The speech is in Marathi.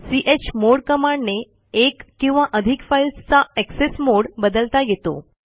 चमोड कमांडने एक किंवा अधिक फाईल्सचा एक्सेस मोडे बदलता येतो